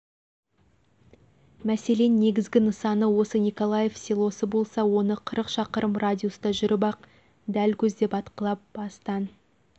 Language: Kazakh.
мәселен негізгі нысаны осы николаев селосы болса оны қырық шақырым радиуста жүріп-ақ дәл көздеп атқылап астанн